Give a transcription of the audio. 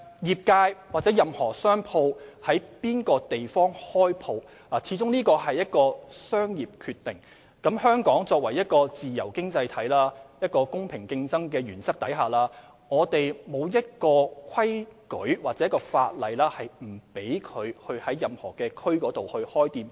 業界在任何地方開設店鋪始終是商業決定，香港是自由經濟體，在公平競爭的原則下，並無法例不准經營者在任何地區開設店鋪。